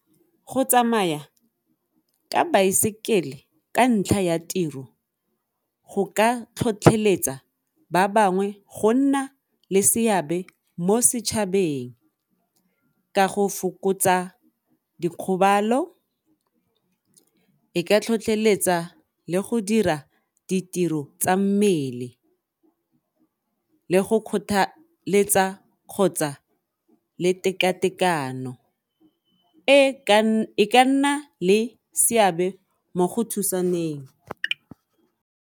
Go tsamaya ka baesekele ka ntlha ya tiro go ka tlhotlheletsa ba bangwe go nna le seabe mo setšhabeng ka go fokotsa dikgobalo e ka tlhotlheletsa le go dira ditiro tsa mmele le go kgothaletsa kgotsa le tekatekano e ka nna le seabe mo go thusaneng.